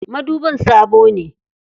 Madubin sabo ne.